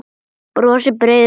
Brosir breiðu brosi.